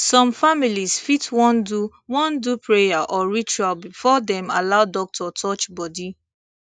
some families fit wan do wan do prayer or ritual before dem allow doctor touch body